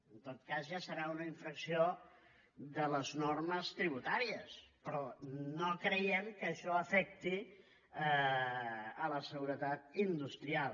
en tot cas ja deu ser una infracció de les normes tributàries però no creiem que això afecti la seguretat industrial